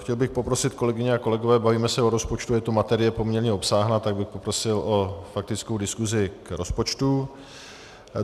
Chtěl bych poprosit, kolegyně a kolegové, bavíme se o rozpočtu, je to materie poměrně obsáhlá, tak bych poprosil o faktickou diskusi k rozpočtu.